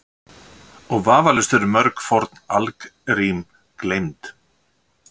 Og vafalaust eru mörg forn algrím gleymd.